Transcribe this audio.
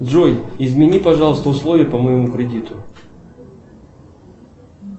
джой измени пожалуйста условия по моему кредиту